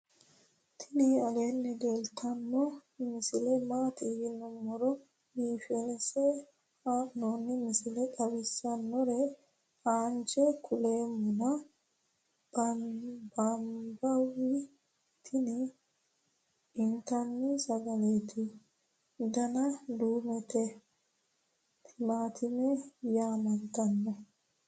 tini aleenni leeltanno misile maati yiniro biifinse haa'noni misile xawisssannore aanche kuleemmona nabawi tini intanni sagaleeti dana duumete timaatime yaamantanno